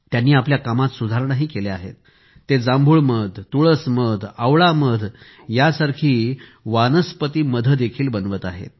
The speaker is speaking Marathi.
त्यांनी आपल्या कामात सुधारणा केल्या आहेत आणि ते जांभूळ मध तुळस मध आवळा मध या सारखे वनस्पती मध देखील बनवत आहेत